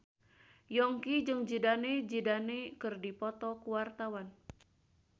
Yongki jeung Zidane Zidane keur dipoto ku wartawan